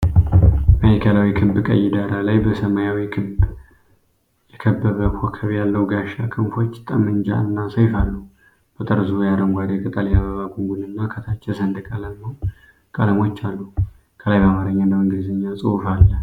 ማዕከላዊ ክብ ቀይ ዳራ ላይ በሰማያዊ ክብ የከበበ ኮከብ ያለው ጋሻ፣ ክንፎች፣ ጠመንጃ እና ሰይፍ አሉ። በጠርዙ የአረንጓዴ ቅጠል የአበባ ጉንጉንና ከታች የሰንደቅ ዓላማው ቀለሞች አሉ። ከላይ በአማርኛ እና በእንግሊዝኛ ጽሑፍ አለ።